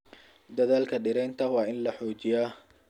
Dadaalka dhiraynta waa in la xoojiyaa.